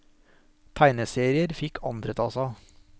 Tegneserier fikk andre ta seg av.